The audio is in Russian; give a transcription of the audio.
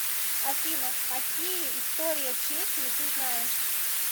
афина какие история чехии ты знаешь